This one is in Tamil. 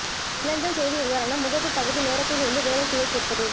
மின்னஞ்சல் செய்தி உதாரணம் முகப்பு பகுதி நேரத்திலிருந்து வேலை செய்ய கேட்பது